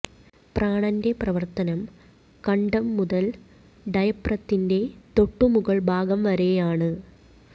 പ്രാണന്റെ പ്രവര്ത്തനം കണ്ഠം മുതല് ഡയഫ്രതിന്റെ തൊട്ടു മുകള് ഭാഗം വരെയാണ്